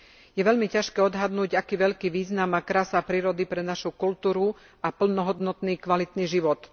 Je veľmi ťažké odhadnúť, aký veľký význam má krása prírody pre našu kultúru a plnohodnotný kvalitný život.